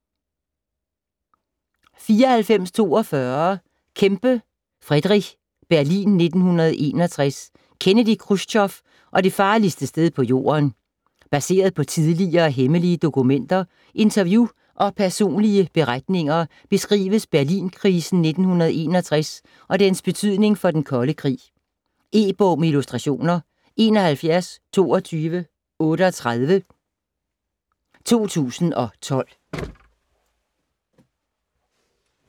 94.42 Kempe, Frederick: Berlin 1961: Kennedy, Khrusjtjov og det farligste sted på jorden Baseret på tidligere hemmelige dokumenter, interview og personlige beretninger beskrives Berlinkrisen i 1961 og dens betydning for den kolde krig. E-bog med illustrationer 712238 2012.